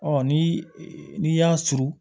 ni n'i y'a surun